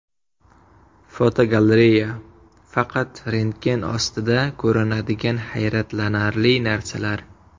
Fotogalereya: Faqat rentgen ostida ko‘rinadigan hayratlanarli narsalar.